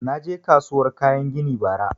Na je kasuwar kayan gini bara